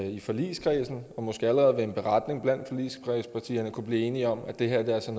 i forligskredsen og måske allerede ved en beretning blandt forligskredspartierne kunne blive enige om at det her altså